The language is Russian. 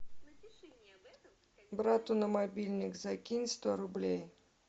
брату на мобильник закинь сто рублей